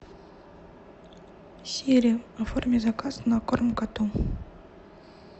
сири оформи заказ на корм коту